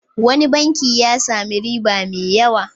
Wani banki ya sami riba mai yawa.